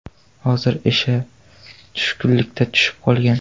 Hozir esa tushkunlikka tushib qolgan.